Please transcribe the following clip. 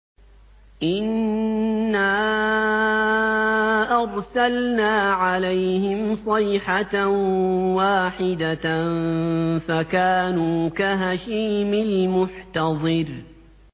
إِنَّا أَرْسَلْنَا عَلَيْهِمْ صَيْحَةً وَاحِدَةً فَكَانُوا كَهَشِيمِ الْمُحْتَظِرِ